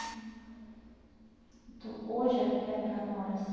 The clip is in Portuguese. Então, hoje é é para nós.